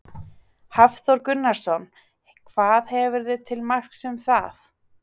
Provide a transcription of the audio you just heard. Hafþór Gunnarsson: Hvað hefurðu til marks um það?